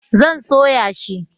zan soya shi